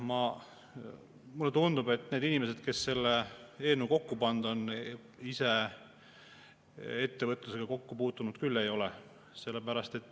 Mulle tundub, et need inimesed, kes selle eelnõu kokku on pannud, ise ettevõtlusega kokku puutunud küll ei ole.